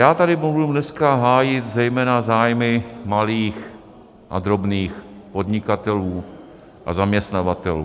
Já tady budu dneska hájit zejména zájmy malých a drobných podnikatelů a zaměstnavatelů.